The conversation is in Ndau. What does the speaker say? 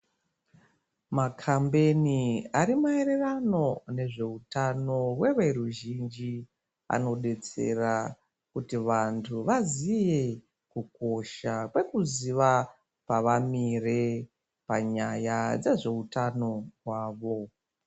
Makambeni ari maererano nezveutano hweveruzhinji anodetsera kuti vantu vaziye kukosha kwekuziya pavamire panyaya dzezveutano hwavo.